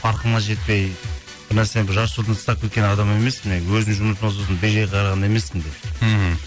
парқына жетпей бір нәрсені бір жарты жолдан тастап кеткен адам емеспін мен өзім жұмысыма сосын бей жай қараған емесспін мен мхм